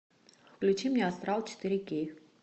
включи мне астрал четыре кей